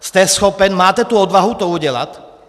Jste schopen, máte tu odvahu to udělat?